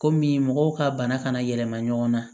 Komi mɔgɔw ka bana kana yɛlɛma ɲɔgɔn na